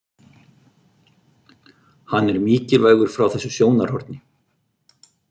Hann er mikilvægur frá þessu sjónarhorni.